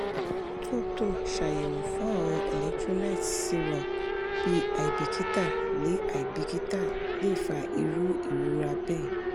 tunto ṣayẹwo fun awọn electrolytes serum bi aibikita le aibikita le fa iru irora bẹẹ